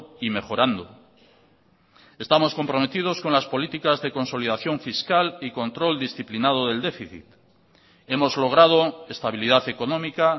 y mejorando estamos comprometidos con las políticas de consolidación fiscal y control disciplinado del déficit hemos logrado estabilidad económica